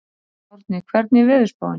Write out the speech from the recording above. Árni, hvernig er veðurspáin?